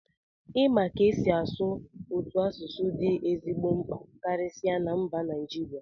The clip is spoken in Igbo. ịma ka esi asụ karịa otu asụsụ dị ezigbo mkpa karịsịa na mba Naijiria